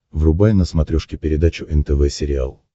врубай на смотрешке передачу нтв сериал